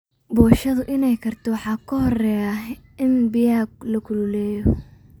Poshoda inay karto waxaa kahoreya ini biyaxa lakululeyo.